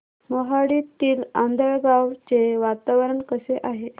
मोहाडीतील आंधळगाव चे वातावरण कसे आहे